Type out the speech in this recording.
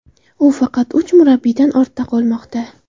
U faqat uch murabbiydan ortda qolmoqda.